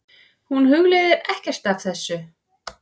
Hún hugleiðir ekkert af þessu.